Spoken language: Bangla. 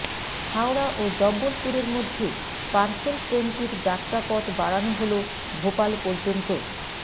হাওড়া ও জব্বলপুরের মধ্যে পার্সেল ট্রেনটির যাত্রাপথ বাড়ানো হল ভোপাল পর্যন্ত